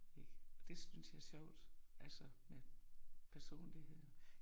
Ik, og det synes jeg er sjovt altså med med personligheden